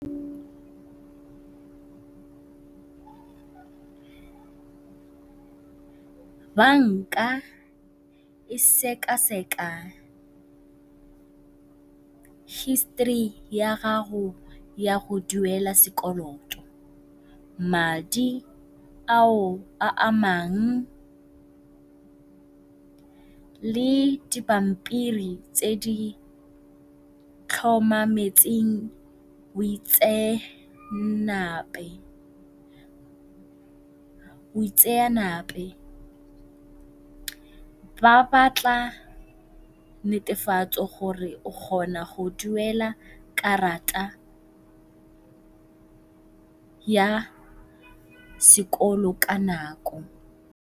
Banka e seka-seka history ya gago ya go duela sekolototo, madi ao a amang le dipampiri tse di tlhomametseng boitseanape. Ba batla netefatso gore o kgona go duela karata ya sekolo ka nako.